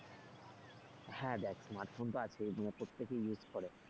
হ্যাঁ দেখ smart phone তো আছেই নিয়ে প্রত্যেকে use করে।